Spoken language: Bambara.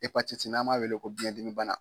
Epatiti n'an m'a wele ko biyɛndimi bana.